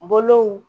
Bolow